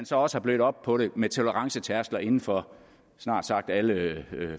så også blødt op på det med tolerancetærskler inden for snart sagt alle